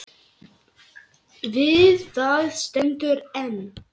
Við það stendur enn.